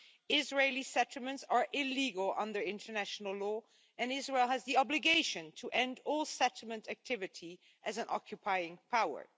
Israeli settlements are illegal under international law and Israel has the obligation to end all settlement activity as an occupying power.